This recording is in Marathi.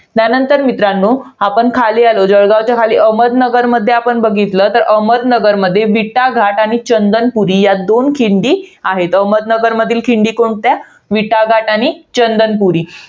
त्यानंतर मित्रांनो, आपण खाली आलो. जळगावच्या खाली अहमदनगरमध्ये जर आपण बघितलं. तर अहमदनगरमध्ये बीटा घाट आणि चंदनपुरी या दोन खिंडी आहेत. अहमदनगरमधील खिंडी कोणत्या? बीटाघाट आणि चंदनपुरी.